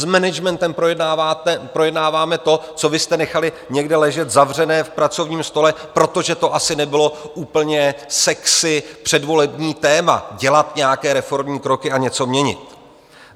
S managementem projednáváme to, co vy jste nechali někde ležet zavřené v pracovním stole, protože to asi nebylo úplně sexy předvolební téma, dělat nějaké reformní kroky a něco měnit.